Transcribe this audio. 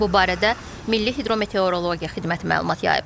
Bu barədə Milli Hidrometeorologiya Xidməti məlumat yayıb.